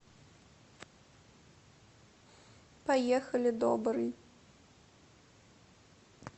поехали добрый